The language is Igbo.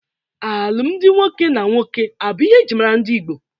Alụmdi nwoke na nwoke abụ ihe eji mara ndị Igbo?